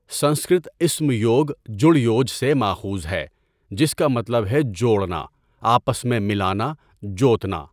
سنسکرت اسم یوگ جڑ یوج سے ماخوذ ہے جس کا مطلب ہے 'جوڑنا، آپس میں ملانا، جوتنا'۔